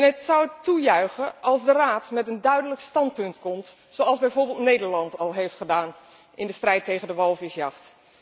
Ik zou het toejuichen als de Raad met een duidelijk standpunt komt, zoals bijvoorbeeld Nederland al heeft gedaan in de strijd tegen de walvisjacht.